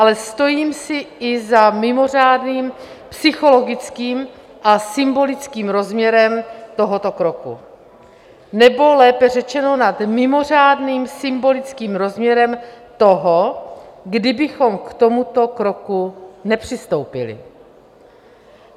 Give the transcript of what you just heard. Ale stojím si i za mimořádným psychologickým a symbolickým rozměrem tohoto kroku, nebo lépe řečeno, nad mimořádným symbolickým rozměrem toho, kdybychom k tomuto kroku nepřistoupili.